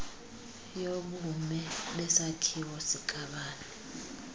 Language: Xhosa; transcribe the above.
yobume besakhiwo sikabani